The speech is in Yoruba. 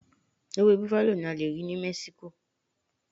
Ewé bufalo ni a lè rí ní Mexico.